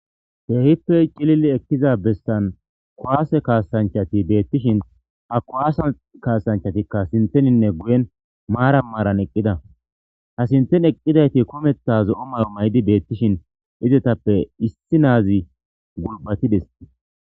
Keehippe cilili ekkiza bestan kuwaase kaasanchati beettishin ha kuwaasa kaasanchatikka sinteninne guyen maara maaran eqqida ha sinten eqqidayti komeththa zo'o mayo maydi beettishin izetappe issi naazi gulbatides